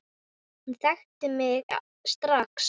Hún þekkti mig strax.